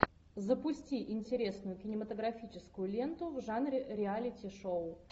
запусти интересную кинематографическую ленту в жанре реалити шоу